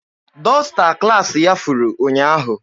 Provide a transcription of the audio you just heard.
Dọsta klaasị ya furu ụnyaahụ.